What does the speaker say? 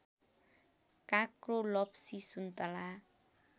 काँक्रो लप्सी सुन्तला